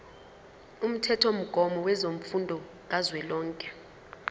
umthethomgomo wemfundo kazwelonke